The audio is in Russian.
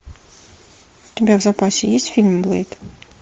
у тебя в запасе есть фильм блэйд